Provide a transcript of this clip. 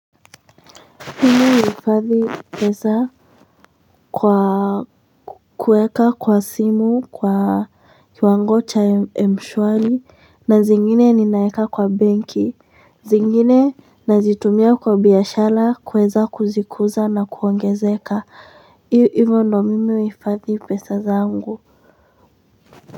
Mimi huhifadhi pesa kwa kuweka kwa simu kwa kiwango cha mshwari na zingine ninaeka kwa benki zingine nazitumia kwa biashara kuweza kuzikuza na kuongezeka hivyo ndo mimi huhifadhi pesa zangu.